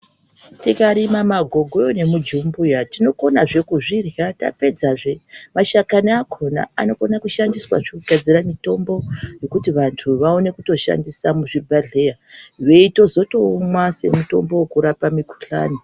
Tikarima magogoyo nemujumbuya tinokonazve kuzvirya tapedzazve mashakani akhona anokona kushandiswazve kugadzira mutombo, wekuti vanhu vaone kutoshandisa muzvibhedhlera veitozotoumwa semutombo wekurapa mukhuhlani.